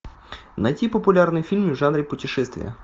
найти популярные фильмы в жанре путешествия